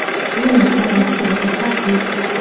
Bu nashr muxbiriga tahdid.